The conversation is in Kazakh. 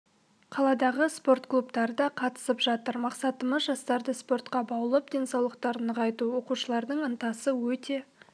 қаладағы спорт клубтары да қатысып жатыр мақсатымыз жастарды спортқа баулып денсаулықтарын нығайту оқушылардың ынтасы өте